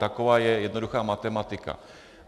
Taková je jednoduchá matematika.